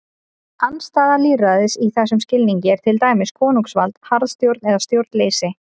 Andstæða lýðræðis í þessum skilningi er til dæmis konungsvald, harðstjórn eða stjórnleysi.